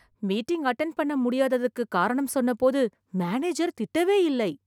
meeting attend பண்ண முடியாததுக்கு காரணம் சொன்னபோது மேனேஜர் திட்டவே இல்லை